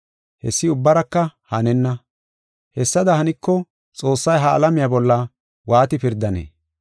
Hessi ubbaraka hanenna. Hessada haniko, Xoossay ha alamiya bolla waati pirdanee?